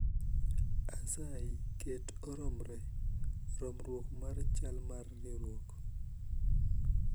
Asayi ket oromre romruok mar chal mar riwruok